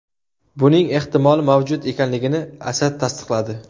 Buning ehtimoli mavjud ekanligini Asad tasdiqladi.